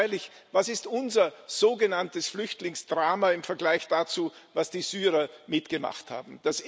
Freilich, was ist unser sogenanntes Flüchtlingsdrama im Vergleich dazu, was die Syrer mitgemacht haben!